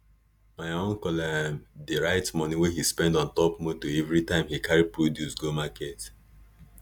my uncle um dey write moni we he spend on top moto enveritime he carry produce go market